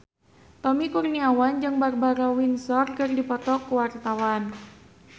Tommy Kurniawan jeung Barbara Windsor keur dipoto ku wartawan